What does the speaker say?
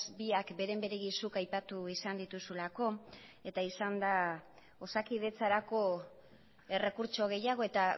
biak beren beregi zuk aipatu izan dituzulako eta izan da osakidetzarako errekurtso gehiago eta